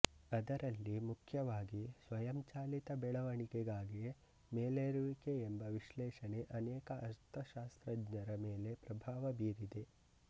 ಅದರಲ್ಲಿ ಮುಖ್ಯವಾಗಿ ಸ್ವಯಂಚಾಲಿತ ಬೆಳೆವಣಿಗೆಗಾಗಿ ಮೇಲೇರುವಿಕೆ ಎಂಬ ವಿಶ್ಲೇಷಣೆ ಅನೇಕ ಅರ್ಥಶಾಸ್ತ್ರಜ್ಞರ ಮೇಲೆ ಪ್ರಭಾವಬೀರಿದೆ